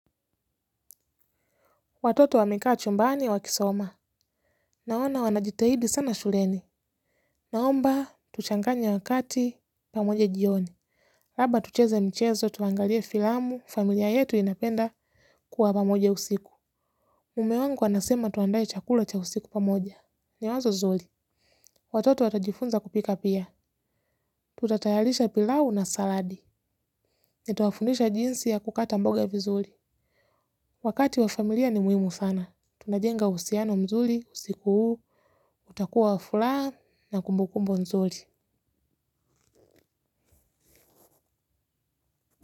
Watoto wa meka chumbaani wakisoma. Naona wanajitahidi sana shuleni. Naomba, tuchanganye wakati, pamoja jioni. Haba tucheze mchezo, tuangalie filamu, familia yetu inapenda kuwa pamoja usiku. Mumewangu anasema tuandaye chakula cha usiku pamoja. Ni wanzo zuli. Watoto watajifunza kupika pia. Tutatayalisha pilau na saladi. Nitwafundisha jinsi ya kukata mboga vizuli. Wakati wa familia ni muhimu sana. Tunajenga usiano mzuli, usiku huu. Utakuwa wa furaha na kumbukumbu nzuri.